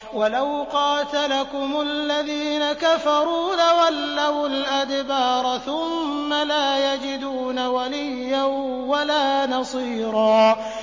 وَلَوْ قَاتَلَكُمُ الَّذِينَ كَفَرُوا لَوَلَّوُا الْأَدْبَارَ ثُمَّ لَا يَجِدُونَ وَلِيًّا وَلَا نَصِيرًا